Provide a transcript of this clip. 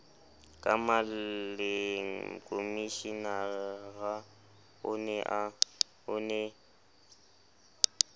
ka maleng komishenara o ne